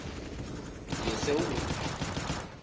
yesewula